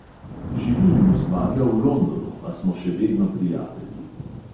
Živi in ustvarja v londonu, a smo še vedno prijatelji.